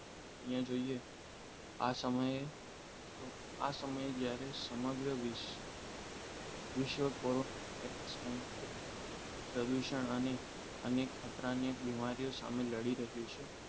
અહીંયા જોઈએ આ સમયે આ સમયે જ્યારે સમગ્ર વિશ્વ કોરોના વાયરસ સંક્રમણ પ્રદૂષણ અને અનેક ખતરામાં બીમારીઓ સામે લડી રહ્યો છે